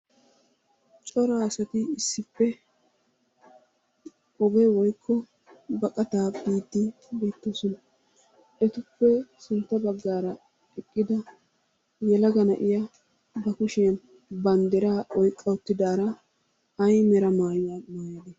Cora asati issippe oge woykko baqqattaa biiddi be'toosona. Etappe sintta baggaara eqqida yelaga na'iya ba kushiyan bandraa oyqqa uttiddaara ay mera maayuwa...